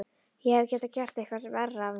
Ég hefði getað gert eitthvað verra af mér.